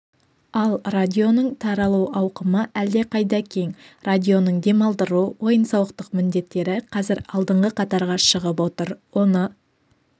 ал радионың таралу ауқымы әлдеқайда кең радионың демалдыру ойын-сауықтық міндеттері қазір алдыңғы қатарға шығып отыр оны